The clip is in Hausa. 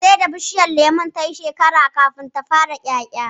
Sai da bishiyar lemon ta yi shekara kafin ta fara ƴaƴa